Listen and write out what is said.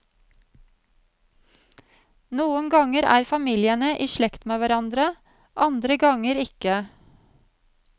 Noen ganger er familiene i slekt med hverandre, andre ganger ikke.